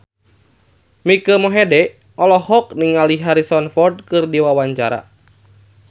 Mike Mohede olohok ningali Harrison Ford keur diwawancara